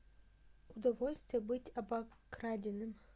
удовольствие быть обокраденным